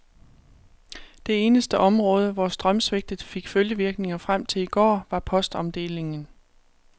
Det eneste område, hvor strømsvigtet fik følgevirkninger frem til i går, var postomdelingen.